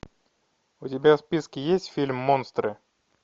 у тебя в списке есть фильм монстры